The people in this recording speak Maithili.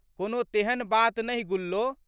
कोनो तेहन बात नहि गुल्लो।